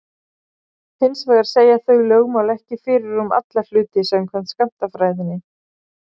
Hins vegar segja þau lögmál ekki fyrir um alla hluti samkvæmt skammtafræðinni.